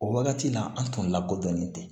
O wagati la an tun lakodɔnnen tɛ